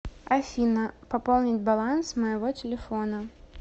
афина пополнить баланс моего телефона